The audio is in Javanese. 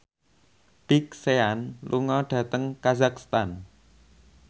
Big Sean lunga dhateng kazakhstan